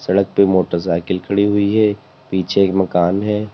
सड़क पे मोटरसाइकिल खड़ी हुई है पीछे एक मकान है।